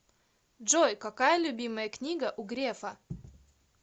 джой какая любимая книга у грефа